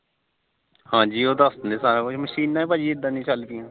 ਹਾਜੀ ਉਹ ਦੱਸ ਦਿੰਦੇ ਸਾਰਾ ਕੁਝ ਮਸ਼ੀਨਾ ਭਾਜੀ ਇਦਾ ਦੀਆਂ ਚੱਲ ਪੀਆਂ